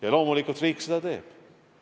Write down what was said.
Ja loomulikult riik seda teeb.